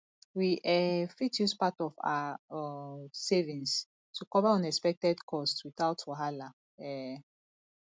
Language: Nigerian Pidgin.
we um fit use part of our um savings to cover unexpected costs without wahala um